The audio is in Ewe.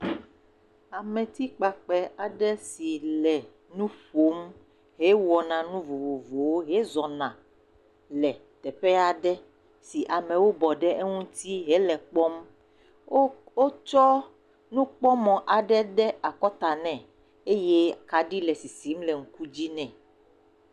Ametikpakpɛ aɖe si le nu ƒom, hewɔna nu vovovowo, hezɔna le teƒe aɖe si amewo bɔ ɖe eŋuti hele kpɔm. Wotsɔ nukpɔmɔ aɖe de akɔta nɛ eye kaɖi le sisim le ŋku dzi nɛ.